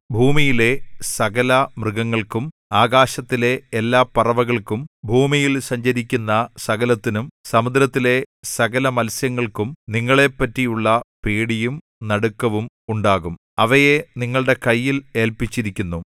ഭൂമിയിലെ സകലമൃഗങ്ങൾക്കും ആകാശത്തിലെ എല്ലാ പറവകൾക്കും ഭൂമിയിൽ സഞ്ചരിക്കുന്ന സകലത്തിനും സമുദ്രത്തിലെ സകലമത്സ്യങ്ങൾക്കും നിങ്ങളെപറ്റിയുള്ള പേടിയും നടുക്കവും ഉണ്ടാകും അവയെ നിങ്ങളുടെ കയ്യിൽ ഏല്പിച്ചിരിക്കുന്നു